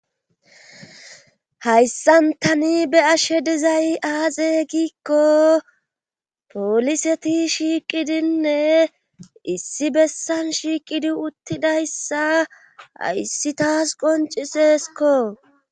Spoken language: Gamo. hayssan tani be ashe dezay aaxe giikko pooliseti shiiqidinne issi bessan shiiqidi uttidayssa hayssi taas qoncisesko